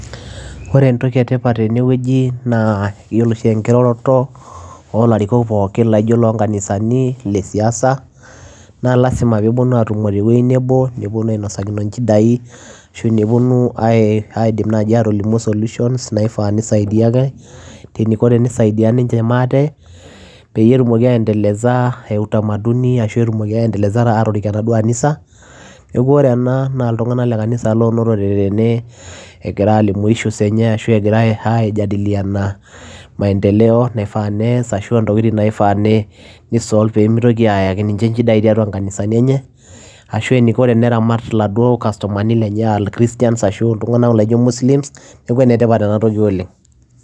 Ore entoki e tipat tene wueji naa iyiolo oshi enkiroroto oo larikok pookin laijo iloo nkanisani, ile siasa naa lazima peeponu aatumo te wuei nebo, neponu ainosakino inchidai, ashu neponu ai aidim naaji aatolimu solutions naifaa nisaidia ake, teniko tenisaidia ninche maate peyie etumoki aendeleza ee utamaduni ashu etumoki aendeleza aatorik enaduo anisa. Neeku ore ena naa iltung'anak le kanisa loonotote tene egira aalimu issues enye ashu egira aijadiliana maendelo naifaa nees ashu a ntokitin naifaa ne nisolve pee mitoki aayaki ninche inchidai tiatua inkanisani enye ashu eniko teneramat iladuo customani lenye aa christians ashu aa iltung'anak laijo muslims, neeku ene tipat ena toki oleng'.